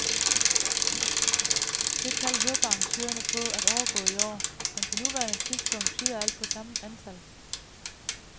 Det tal håber arrangørerne på at overgå i år, men på nuværende tidspunkt tyder alt på samme antal.